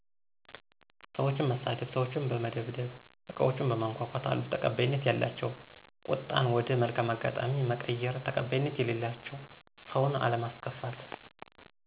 ሰዎችን መሳደብ፣ ሰዎችን በመደብደብ አቃዎችን በማነኮኮ ት፤ አሉ ተቀባይነት ያላቸው ቁጣን ወደ መልካም አጋጣሚ መቀየር ተቀባይነት የሌላቸው ሰውን አለማስከፋት።